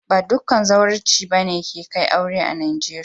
Ba dukan zawarcinsa ne kan kai aure a'Nijeriya ba.